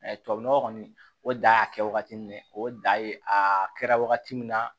tubabunɔgɔ kɔni o da y'a kɛ wagati min ye o da ye a kɛra wagati min na